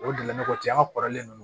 O delila ne kɔ ten an ka kɔrɔlen don